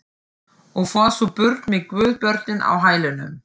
Og fór svo burt með guðsbörnin á hælunum.